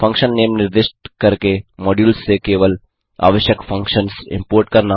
function name निर्दिष्ट करके modules से केवल आवश्यक फंक्शन्स इम्पोर्ट करना